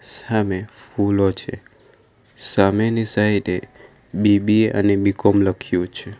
સામે ફૂલો છે સામેની સાઇડે બી_બી_એ અને બી કોમ લખ્યું છે.